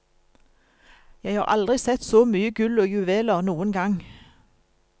Jeg har aldri sett så mye gull og juveler noen gang.